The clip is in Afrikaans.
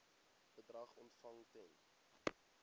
bedrag ontvang ten